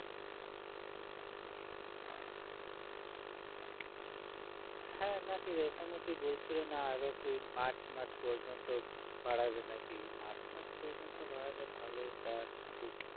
হ্যাঁ নাকি রেশনে কী বলছিল না আরও কী march মাস পর্যন্ত বাড়াবে নাকি march মাস পর্যন্ত বাড়ালে ভালো যাক একটু